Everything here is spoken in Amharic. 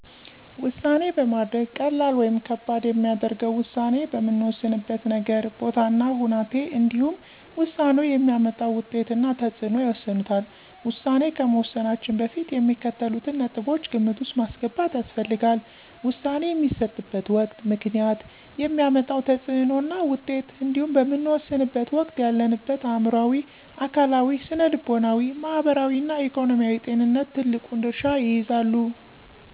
ውሳኔ ማድረግ ቀላል ወይም ከባድ የሚያደርገው ውሳኔ በምንወስንበት ነገር፣ ቦታ እና ሁናቴ እንዲሁም ውሳኔው የሚያመጣው ውጤት እና ተፅዕኖ ይወስኑታል። ውሳኔ ከመወሰናችን በፊት የሚከተሉትን ነጥቦች ግምት ውስጥ ማስገባት ያስፈልጋል። - ውሳኔ የሚሰጥበት ወቅት፣ ምክንያት፣ የሚያመጣው ተፅዕኖና ውጤት እንዲሁም በምንወሰንበት ወቅት ያለንበት አዕምሮአዊ፣ አካላዊ፣ ስነልቦናዊ፣ ማህበራዊ እና ኢኮኖሚያዊ ጤንነት ትልቁን ድርሻ ይይዛሉ።